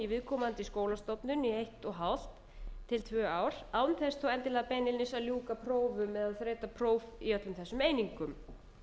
í viðkomandi skólastofnun í eitt og hálft til tvö ár án þess þó endilega beinlínis að ljúka prófum eða þreyta próf í öllum þessum einingum